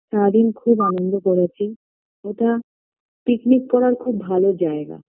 সারাদিন খুব আনন্দ করেছি ওটা picnic করার খুব ভালো জায়গা